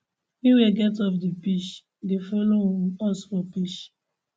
wey we get off di pitch dey follow um us for pitch